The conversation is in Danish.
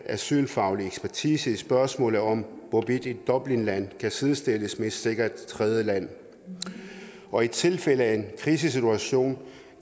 asylfaglig ekspertise i spørgsmålet om hvorvidt et dublinland kan sidestilles med et sikkert tredjeland og i tilfælde af en krisesituation